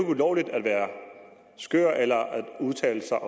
ulovligt at være skør eller at udtale sig